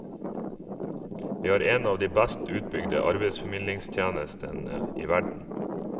Vi har en av de best utbygde arbeidsformidlingstjenestene i verden.